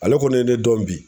Ale kɔni ye ne dɔn bi